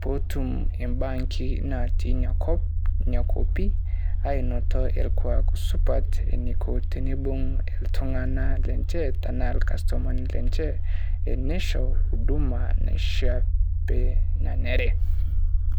pootum o bankii naati nya nkop nyaa nkopii ainooto elkwaak supaat eneko tenebuung' iltung'anak lenchee taana elkasutumani lenchee eneshoo huduma nishaa pee neneree.